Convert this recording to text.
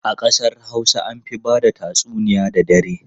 A kasar Hausa an fi ba da tatsuniya da dare.